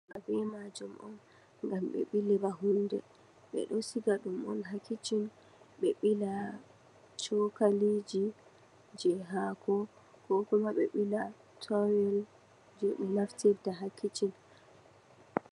Banniimaajum on, ngam ɓe ɓili ba huunde, ɓe ɗo siga ɗum on haa Kicin, ɓe ɓila cookaliiji jey haako, koo kuma ɓe ɓila towel je ɓe naftirta haa Kicin.